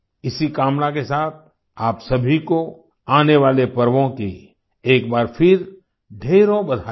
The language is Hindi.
इसी कामना के साथ आप सभी को आने वाले पर्वों की एक बार फिर ढेरों बधाइयाँ